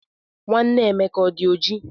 Nwanne Emeka ọdi oji?